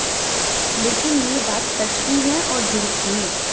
लेकिन ये बात सच भी है और झूठ भी